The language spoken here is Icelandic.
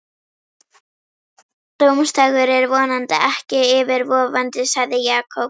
Dómsdagur er vonandi ekki yfirvofandi sagði Jakob.